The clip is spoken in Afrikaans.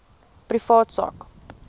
privaat sak